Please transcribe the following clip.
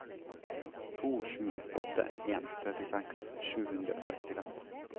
to sju åtte en trettiseks sju hundre og sekstifem